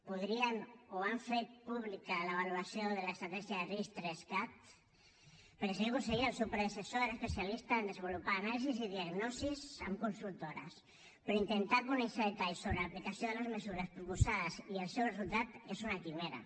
podrien o han fet pública la valoració de l’estratègia de ris3cat perquè senyor conseller el seu predecessor era especialista a desenvolupar anàlisis i diagnosis amb consultores però intentar conèixer detalls sobre l’aplicació de les mesures proposades i el seu resultat és una quimera